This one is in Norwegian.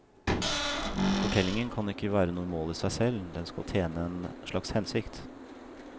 Fortellingen kan ikke være noe mål i seg selv, den skal tjene en slags hensikt.